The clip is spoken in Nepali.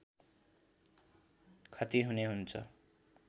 खती हुने हुन्छ